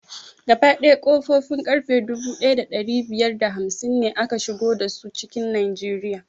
Gaba ɗaya ƙofofin ƙarfe dubu ɗaya da ɗari biyar da hamsin ne aka shigo dasu cikin najeriya